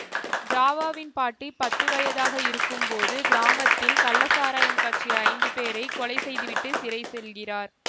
ஜாவாவின் பாட்டி பத்து வயதாக இருக்கும் போது கிராமத்தில் கள்ள சாரயம் காய்ச்சிய ஐந்து பேரை கொலை செய்துவிட்டு சிறை செல்கிறார்